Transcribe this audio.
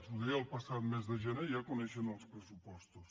ho deia el passat mes de gener ja coneixent els pressupostos